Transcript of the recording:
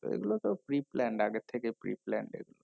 এগুলো তো preplanned আগের থেকে preplanned এগুলো